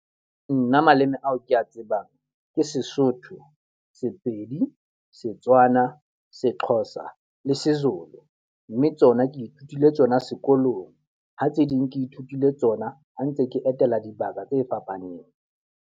Nna maleme ao kea tsebang, ke Sesotho, Sepedi, Setswana, seXhosa le seZulu. Mme tsona ke ithutile tsona sekolong, ha tse ding ke ithutile tsona ha ntse ke etela dibaka tse fapaneng.